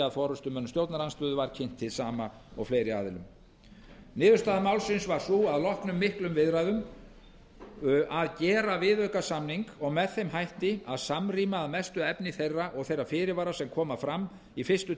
að loknum viðræðum varð niðurstaðan sú að gera viðaukasamninga og með þeim hætti að samrýma að mestu efni þeirra og þeirra fyrirvara sem koma fram í fyrsta